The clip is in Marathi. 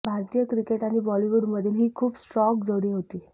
भारतीय क्रिकेट आणि बॉलिवूडमधील ही खूप स्ट्रॉग जोडी होती